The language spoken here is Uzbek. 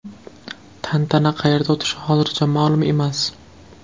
Tantana qayerda o‘tishi hozircha ma’lum emas.